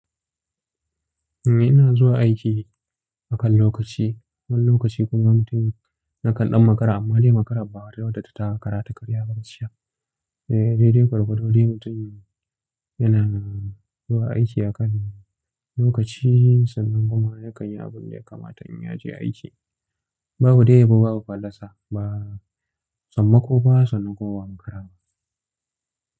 Eh ina zuwa aiki akan lokaci. Wani lokaci kuma mutum na kan ɗan makara amma dai makarar ba wata wadda ta taka kara ta karya bakciya. Eh dai dai gwargwado dai mutum yana zuwa aiki akan lokaci sannan kuma yakan yi abin da ya kamata in ya je aiki. Babu dai yabo, babu fallasa ba. Sammako ba sannan kuma ba'a makara ba.